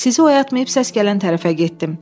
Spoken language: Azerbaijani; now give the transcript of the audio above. Sizi oyatmayıb səs gələn tərəfə getdim.